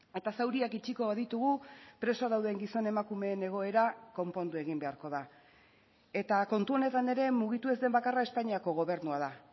eta zauriak itxiko ditugu preso dauden gizon emakumeen egoera konpondu egin beharko da eta kontu honetan ere mugitu ez den bakarra espainiako gobernua da